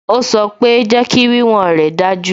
Ó sọ pé "Jẹ́kí wíwọ̀n rè dájú"